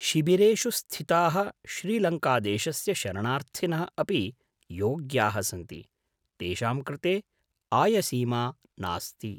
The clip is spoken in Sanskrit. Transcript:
शिबिरेषु स्थिताः श्रीलङ्कादेशस्य शरणार्थिनः अपि योग्याः सन्ति, तेषां कृते आयसीमा नास्ति।